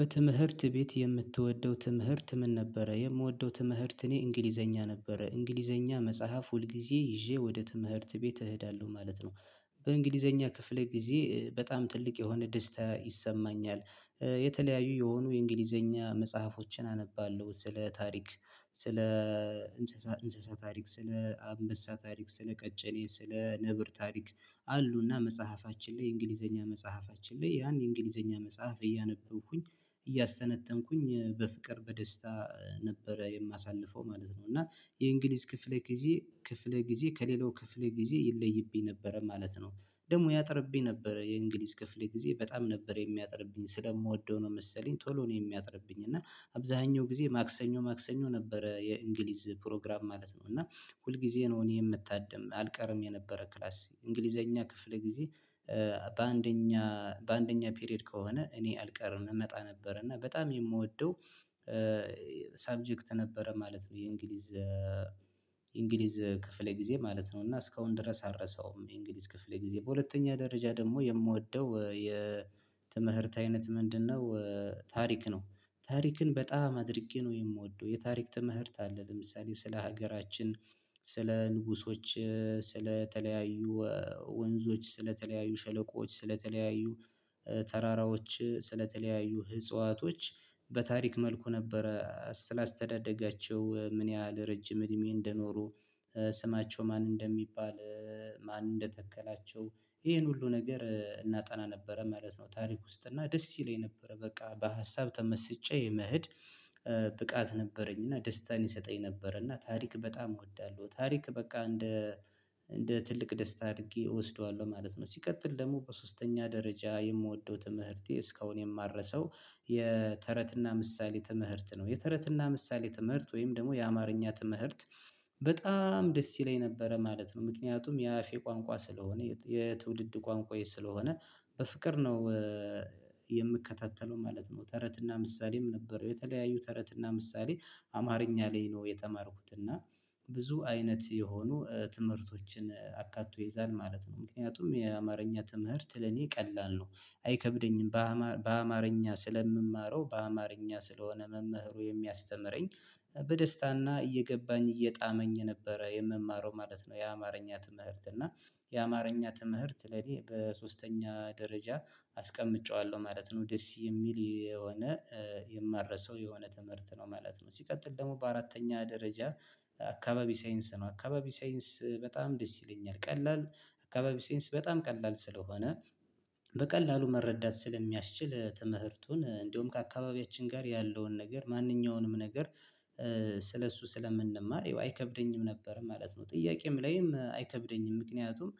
በትምህርት ቤት የምትወደው ትምህርት ምን? ነበረ የምወደው ትምህርት እኔ እንግሊዘኛ ነበረ እንግሊዘኛ መጽሐፍ ሁልጊዜ ይዤ ወደ ትምህርት ቤት እሄዳለሁ ማለት ነው። በእንግሊዘኛ ክፍል ጊዜ በጣም ትልቅ የሆነ ደስታ ይሰማኛል የተለያዩ የሆኑ የእንግሊዘኛ መጽሐፎችን አነባለሁ ስለ ታሪክ ስለ እንስሳ እንስሳ ታሪክ ስለ አንበሳ ታሪክ ስለ ቀጭኔ ስለ ነብር ታሪክ አሉና መጽሐፋችን ላይ የእንግሊዘኛ መጽሐፋችን ላይ ያን የእንግሊዘኛ መጽሐፍ እያነበብኩኝ እያሰተነተንኩኝ በፍቅር በደስታ ነበረ የማሳልፈው ማለት ነው። እና የእንግሊዝ ክፍለ ጊዜ ክፍለ ጊዜ ከሌላው ክፍለ ጊዜ ይለይብኝ ነበረ ማለት ነው። ደግሞ ያጥርብኝ ነበረ የእንግሊዝ ክፍሌ ጊዜ በጣም ነበር የሚያጠርብኝ ስለምወደው ነው መሰለኝ ቶሎ ነው የሚያጥርብኝ እና አብዛኛው ጊዜ ማክሰኞ ማክሰኞ ነበረ የእንግሊዝ ፕሮግራም ማለት ነው እና ሁል ጊዜ ነው እኔ የምታደም አልቀርም የነበረ ክላስ እንግሊዘኛ ክፍል ጊዜ በአንደኛ በአንደኛ ፔሬድ ከሆነ እኔ አልቀርም እመጣ ነበር እና በጣም የምወደው ሰብጀክት ነበረ ማለት ነው። የእንግሊዝ እንግሊዝ ክፍል ጊዜ ማለት ነው እና እስካሁን ድረስ አልረሳውም የእንግሊዝ ክፍሌ ጊዜ በሁለተኛ ደረጃ ደግሞ የምወደው የትምህርት አይነት ምንድነው? ታሪክ ነው። ታሪክን በጣም አድርጌ ነው የምወደው የታሪክ ትምህርት አለ ለምሳሌ ስለ ሀገራችን ስለ ንጉሶች ስለ ተለያዩ ወንዞች ስለተለያዩ ሸለቆዎች ስለተለያዩ ተራራዎች ስለተለያዩ ህጽዋቶች በታሪክ መልኩ ነበረ ስላስተዳደጋቸው ምን ያህል ረጅም እድሜ እንደኖሩ ስማቸው ማን እንደሚባል ማን እንደተከላቸው ይሄን ሁሉ ነገር እናጠና ነበረ ማለት ነው። ታሪክ ውስጥ እና ደስ ይለኝ ነበረ በቃ በሀሳብ ተመስጬ መሄድ ብቃት ነበረኝ እና ደስታን ይሰጠኝ ነበረ እና ታሪክ በጣም እወዳለሁ ታሪክ በቃ እንደ እንደ ትልቅ ደስታ አድርጌ እወስደዋለሁ ማለት ነው። ሲቀጥል ደግሞ በሶስተኛ ደረጃ የምወደው ትምህርቴ እስካሁን የማረሳው የተረትና ምሳሌ ትምህርት ነው የተረትና ምሳሌ ትምህርት ወይም ደግሞ የአማርኛ ትምህርት በጣም ደስ ይለኝ ነበረ ማለት ነው። ምክንያቱም የአፌ ቋንቋ ስለሆነ የትውልድ ቋንቋዬ ስለሆነ በፍቅር ነው የምከታተለው ማለት ነው። ተረትና ምሳሌም ነበረው የተለያዩ ተረት እና ምሳሌ አማርኛ ላይ ነው የተማርኩት እና ብዙ አይነት የሆኑ ትምህርቶችን አካቶ ይይዛል ማለት ነው ምክንያቱም የአማርኛ ትምህርት ለኔ ቀላል ነው። አይከብደኝም በአማር በአማርኛ ስለምማረው በአማርኛ ስለሆነ መምህሩ የሚያስተምረኝ በደስታና እየገባኝ እየጣመኝ ነበረ የምማረው ማለት ነው የአማርኛ ትምህርት እና የአማርኛ ትምህርት ለኔ በሶስተኛ ደረጃ አስቀምጨዋለሁ ማለት ነው ደስ የሚል የሆነ የማረሳው የሆነ ትምህርት ነው ማለት ነው። ሲቀጥል ደግሞ በአራተኛ ደረጃ አካባቢ ሳይንስ ነው አካባቢ ሳይንስ በጣም ደስ ይለኛል ቀላል አካባቢ ሳይንስ በጣም ቀላል ስለሆነ በቀላሉ መረዳት ስለሚያስችል ትምህርቱን እንደውም ከአካባቢያችን ጋር ያለውን ነገር ማንኛውንም ነገር ስለእሱ ስለምንማር አይከብደኝም ነበር ማለት ነው። ጥያቄም ላይም አይከብደኝም ምክንያቱም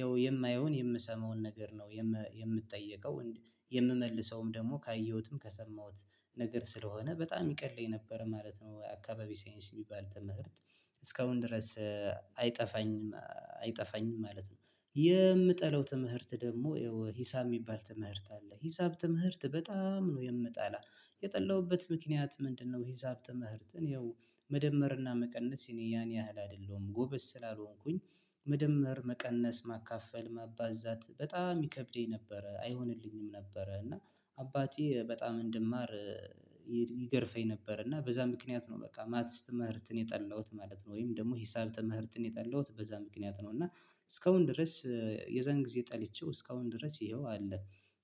ያው የማየውን የምሰማውን ነገር ነው የምጠየቀው የምመልሰውም ደግሞ ካየሁትም ከሰማሁት ነገር ስለሆነ በጣም ይቀለኝ ነበር ማለት ነው። አካባቢ ሳይንስ የሚባል ተምህርት እስካሁን ድረስ አይጠፋኝም አይጠፋኝም ማለት ነው የምጠለው ትምህርት ደግሞ ይሄው ሂሳብ የሚባል ትምህርት አለ ሂሳብ ትምህርት በጣም ነው የምጣላ የጠላሁበት ምክንያት ምንድነው? ሂሳብ ትምህርትን ይኸው መደመርና መቀነስ የኔ ያን ያህል አይደለሁም ጎበዝ ስላልሆንኩኝ መደመር መቀነስ ማካፈል ማባዛት በጣም ይከብደኝ ነበረ አይሆንልኝም ነበረ እና አባቴ በጣም እንድማር ይገርፈኝ ነበር እና በዛ ምክንያት ነው በቃ ማትስ ትምህርትን የጠላሁት ማለት ነው። ወይም ደግሞ ሂሳል ተምህርትን የጠላሁት በዛ ምክንያት ነው እና እስካሁን ድረስ የዛን ጊዜ ጠልቼው እስካሁን ድረስ ይኸው አለ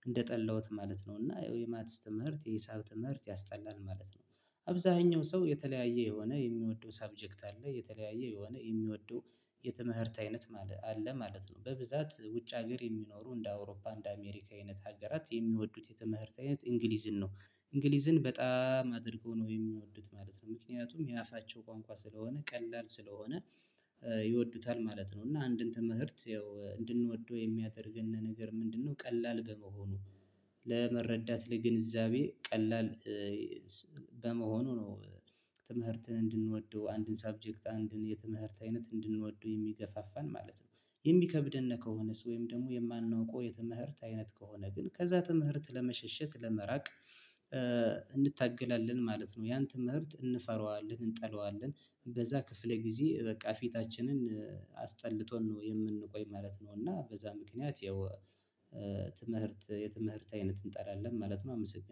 እንደጠላሁት ማለት ነው እና ይኸው የማትስ ትምህርት የሂሳብ ትምህርት ያስጠላል ማለት ነው። አብዛኛው ሰው የተለያየ የሆነ የሚወደው ሰብጀክት አለ የተለያየ የሆነ የሚወደው የተመህርት አይነት ማለት አለ ማለት ነው በብዛት ውጭ ሀገር የሚኖሩ እንደ አውሮፓ እንደ አሜሪካ አይነት ሀገራት የሚወዱት የትምህርት አይነት እንግሊዝን ነው እንግሊዝን በጣም አድርጎ ነው የሚወዱት ማለት ነው። ምክንያቱም የአፋቸው ቋንቋ ስለሆነ ቀላል ስለሆነ ይወዱታል ማለት ነው እና አንድን ትምህርት ያው እንድንወደው የሚያደርገን ነገር ምንድነው? ቀላል በመሆኑ ለመረዳት ለግንዛቤ ቀላል በመሆኑ ነው ትምህርትን እንድንወደው አንድን ሰብጀክት አንድን የትምህርት አይነት እንድንወደው የሚገፋፋን ማለት ነው። የሚከብድን ከሆነስ ወይም ደግሞ የማናውቀው የትምህርት አይነት ከሆነ ግን ከዛ ትምህርት ለመሸሸት ለመራቅ እንድታገላለን ማለት ነው። ያን ትምህርት እንፈራዋለን እንጠላዋለን በዛ ክፍለ ጊዜ በቃ ፊታችንን አስጠልቶን ነው የምንቆይ ማለት ነው። እና በዛ ምክንያት ያው የትምህርት አይነት እንጠላለን ማለት ነው። አመሰገናለው